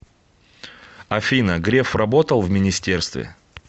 афина греф работал в министерстве